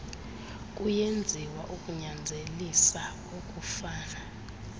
kuyenziwa ukunyanzelisa ukufana